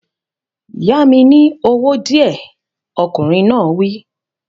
Yá mi ní owó díẹ̀, ọkùnrin náà wí